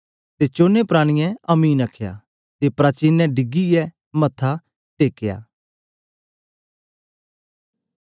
ते चोने प्राणियें आमीन आखया ते प्राचीनैं ढीगीयै मत्था टेकेया कित्ता